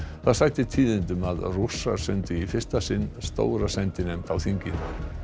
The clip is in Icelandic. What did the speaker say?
það sætir tíðindum að Rússar sendu í fyrsta sinn stóra sendinefnd á þingið